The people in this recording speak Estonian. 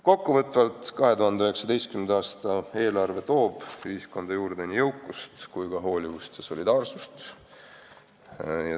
Kokkuvõtvalt: 2019. aasta eelarve toob ühiskonda juurde nii jõukust kui ka hoolivust ja solidaarsust.